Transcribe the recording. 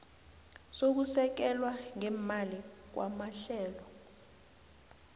sokusekelwa ngeemali kwamahlelo